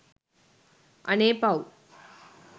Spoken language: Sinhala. අනේ පව්